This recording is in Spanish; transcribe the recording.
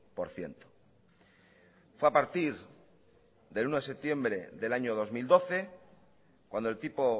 por ciento fue a partir del uno de septiembre del año dos mil doce cuando el tipo